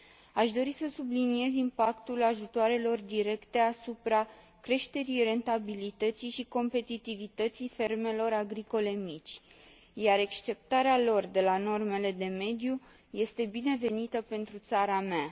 Aș dori să subliniez impactul ajutoarelor directe asupra creșterii rentabilității și competitivității fermelor agricole mici, iar exceptarea lor de la normele de mediu este binevenită pentru țara mea.